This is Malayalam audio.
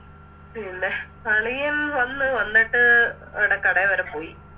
പിന്നെ അളിയൻ വന്ന് വന്നിട്ട് അവിടെ കടെ വരെ പോയി